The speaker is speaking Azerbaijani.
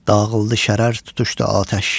Dağıldı şərar tutuşdu atəş.